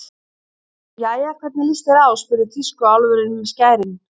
Jæja, hvernig líst þér á spurði tískuálfurinn með skærin.